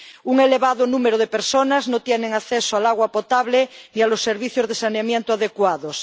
Un elevado número de personas no tienen acceso al agua potable ni a los servicios de saneamiento adecuados.